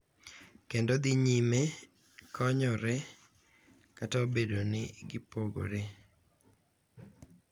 Kendo dhi nyime konyore kata obedo ni gipogore.